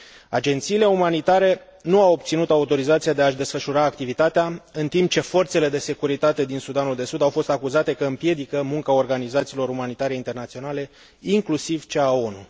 Agențiile umanitare nu au obținut autorizația de a și desfășura activitatea, în timp ce forțele de securitate din Sudanul de Sud au fost acuzate că împiedică munca organizațiilor umanitare internaționale, inclusiv cea a ONU.